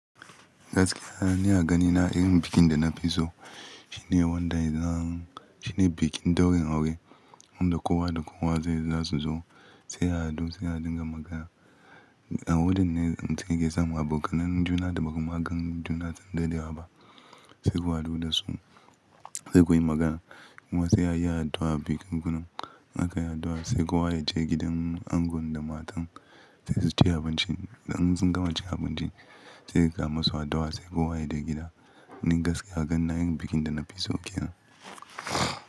Gaskiya, ni a gani na irin bikin da na fi so. Shi ne wanda zan, shi ne bikin ɗaurin aure wanda kowa da kowa zai, za su zo sai a hadu sai a dinga magana. A wurin ne slmutun yake samun abokanai juna da ba kuma ka gan juna tun da dare ba. Sai ku haɗu da su sai ku yi magana kuma sai a yi addu'a bikin gunan. An yi addu'a sai kowa ya je gidan angon da matar sai su ci abinci. In sun gama cin abinci sai su kama su addu'a sai kowa yaje gida. Ni gaskiya gani na irin bikin da na fi so kenan.